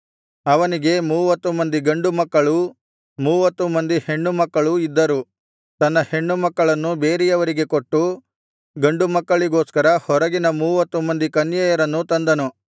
ಅವನಿಗೆ ಮೂವತ್ತು ಮಂದಿ ಗಂಡುಮಕ್ಕಳೂ ಮೂವತ್ತು ಮಂದಿ ಹೆಣ್ಣುಮಕ್ಕಳೂ ಇದ್ದರು ತನ್ನ ಹೆಣ್ಣುಮಕ್ಕಳನ್ನು ಬೇರೆಯವರಿಗೆ ಕೊಟ್ಟು ಗಂಡುಮಕ್ಕಳಿಗೋಸ್ಕರ ಹೊರಗಿನ ಮೂವತ್ತು ಮಂದಿ ಕನ್ಯೆಯರನ್ನು ತಂದನು